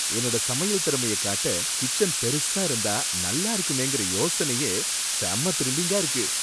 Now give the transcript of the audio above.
என்னோட சமையல் திறமைய காட்ட கிச்சன் பெருசா இருந்தா நல்லா இருக்குமேங்கற யோசனையே செம த்ரில்லிங்கா இருக்கு.